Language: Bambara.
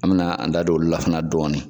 An bi na an da don olu lahana dɔɔni